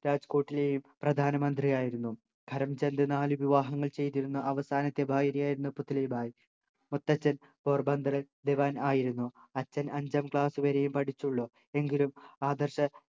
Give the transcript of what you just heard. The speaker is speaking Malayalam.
രാജ് കോട്ടിലെയും പ്രധാനമന്ത്രിയായിരുന്നു കരംചന്ദ് നാല് വിവാഹങ്ങൾ ചെയ്തിരുന്ന അവസാനത്തെ ഭാര്യയായിരുന്നു പുത്‌ലി ഭായ് മുത്തച്ഛൻ പോർബന്തറിൽ ദിവാൻ ആയിരുന്നു അച്ഛൻ അഞ്ചാം ക്ലാസ് വരെയെ പഠിച്ചുള്ളൂ എങ്കിലും ആദർശ